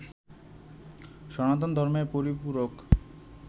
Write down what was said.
সনাতন ধর্মের পরিপূরক